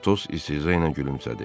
Atos istehza ilə gülümsədi.